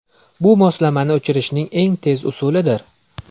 Bu moslamani o‘chirishning eng tez usulidir.